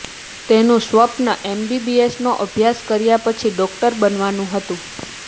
તેનું સ્વપ્ન એમબીબીએસનો અભ્યાસ કર્યા પછી ડોક્ટર બનવાનું હતું